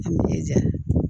A ni jɛn